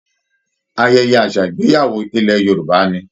Ayẹyẹ àṣà ìgbéyàwó ilẹ̀ Yorùbá ni